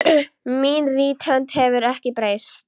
Mín rithönd hefur ekki breyst.